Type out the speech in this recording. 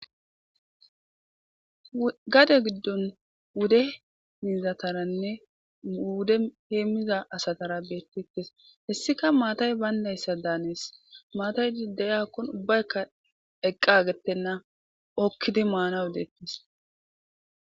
Gade giddon wude mizataranne wude heemmiza asatara beettites hessika maatay bayndayssa daanees maatay idayakkon ubbaykka eqqa gettenna okkidi maanawu deettis.